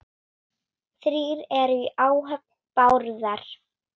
Þrír eru í áhöfn Bárðar.